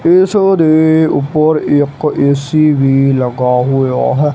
ਇਸ ਦੇ ਉੱਪਰ ਇੱਕ ਏ_ਸੀ ਵੀ ਲੱਗਾ ਹੋਇਆ ਹੈ।